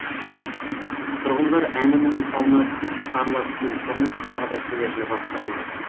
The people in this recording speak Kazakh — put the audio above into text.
тұрғындар әні міне салынады деп сарыла күткен құрылыс тағы да келер жылға ысырылды